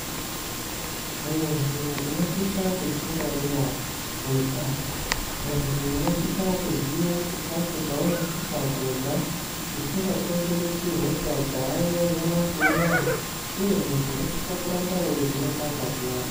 Muntu unosisa kudzingwarira kuita muntu unosisa kuziya chikafu chaunosisa kurya chisingakonzeresi hosha dzayo nyamashi unouyu, uye muntu unosise kuramba eivhenekwa ngazi yako.